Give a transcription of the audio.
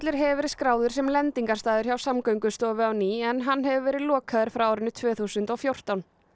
hefur verið skráður sem lendingarstaður hjá Samgöngustofu á ný en hann hefur verið lokaður frá árinu tvö þúsund og fjórtán